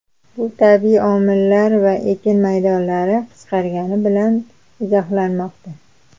Bu tabiiy omillar va ekin maydonlari qisqargani bilan izohlanmoqda.